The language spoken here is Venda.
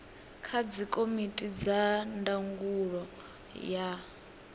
kha dzikomiti dza ndangulo ya